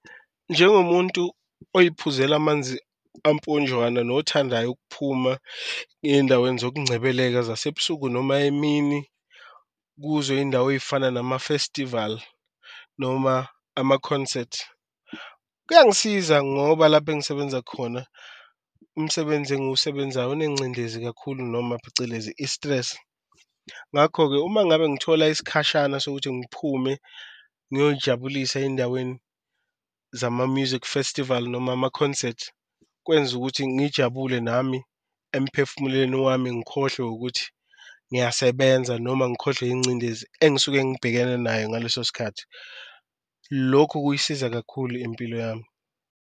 Njengomuntu oyiphuzela amanzi amponjwana nothandayo ukuphuma eye endaweni zokuncebeleka zasebusuku noma emini kuzo iyindawo ey'fana namafestivali noma amakhonsathi. Kuyangisiza ngoba lapha engisebenza khona umsebenzi engiwusebenzayo onencindezi kakhulu noma phecelezi i-stress ngakho-ke, uma ngabe ngithola isikhashana sokuthi ngiphume ngiyoyijabulisa endaweni zama-music festival noma ama-concert. Kwenza ukuthi ngijabule nami emphefumulweni wami, ngikhohlwe ukuthi ngiyasebenza noma ngikhohlwe incindezi engisuke ngibhekene nayo ngaleso sikhathi lokhu kuyasiza kakhulu impilo yami.